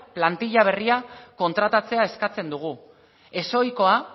plantilla berria kontratatzea eskatzen dugu ezohikoa